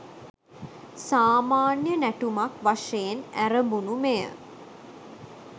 සාමාන්‍ය නැටුමක් වශයෙන් ඇරඹුණු මෙය